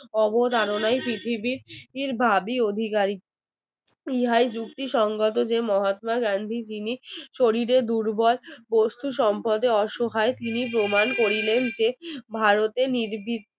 ইহাই যুক্তিসঙ্গত মহাত্মা গান্ধী যিনি শরীরে দুর্বল বস্তু সম্পদে অসহায় তিনি প্রমাণ করিলেন যে ভারতে নির্বি